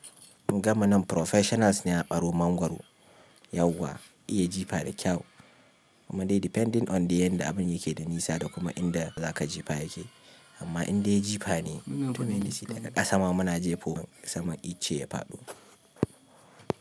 Gamu nan professionals ne a ɓaro mangwaro, yauwa iya jifa da kyau. Kuma dai depending on the yanda abun yake da nisa da kuma inda za ka jifa yake. Amma indai jifa ne daga ƙasa muna jefo saman icce ya faɗo.